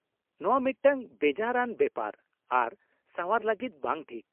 - ᱱᱚᱶᱟ ᱢᱤᱫᱴᱟᱝ ᱵᱮᱡᱟᱨ ᱟᱱ ᱵᱮᱯᱟᱨ ᱟᱨ ᱥᱟᱣᱟᱨ ᱞᱟᱹᱜᱤᱫ ᱵᱟᱝ ᱴᱷᱤᱠ ᱾